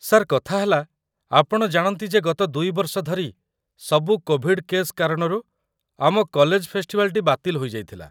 Sir, କଥା ହେଲା, ଆପଣ ଜାଣନ୍ତି ଯେ ଗତ ୨ ବର୍ଷ ଧରି ସବୁ କୋଭିଡ୍‌ କେସ୍‌ କାରଣରୁ ଆମ କଲେଜ ଫେଷ୍ଟିଭାଲଟି ବାତିଲ୍ ହୋଇଯାଇଥିଲା ।